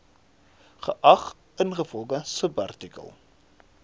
geag ingevolge subartikel